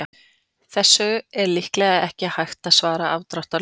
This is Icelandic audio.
Þessu er líklega ekki hægt að svara afdráttarlaust.